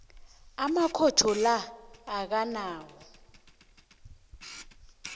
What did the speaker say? amakhotho la akanawo